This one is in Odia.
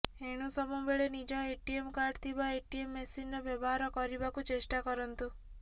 ଏଣୁ ସବୁବେଳେ ନିଜ ଏଟିଏମ୍ କାର୍ଡ଼ ଥିବା ଏଟିଏମ୍ ମେସିନର ବ୍ଯବହାର କରିବାକୁ ଚେଷ୍ଟା କରନ୍ତୁ